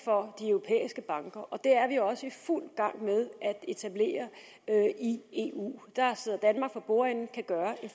vi banker og det er vi også i fuld gang med at etablere i eu der sidder danmark for bordenden og kan gøre en